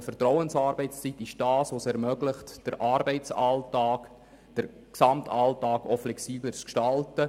Vertrauensarbeitszeit ermöglicht es, den Arbeitsalltag und den Gesamtalltag flexibler zu gestalten.